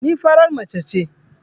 Ni farar mace ce